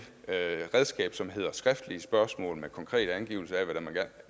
redskab på som hedder skriftlige spørgsmål med konkrete angivelser af hvad det